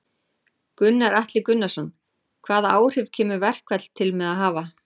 Gunnar Atli Gunnarsson: Hvaða áhrif kemur verkfall til með að hafa?